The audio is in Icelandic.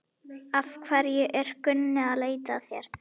Af hverju er Gunni að leita að þér?